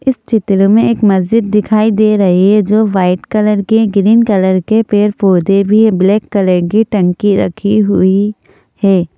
इस चित्र में एक मस्जिद दिखाई दे रही है जो वाइट कलर के ग्रीन कलर के पेड़ पौधे भी ब्लैक कलर की टंकी रखी हुई है।